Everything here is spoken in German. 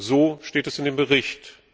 So steht es in dem Bericht.